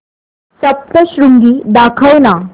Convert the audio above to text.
सप्तशृंगी दाखव ना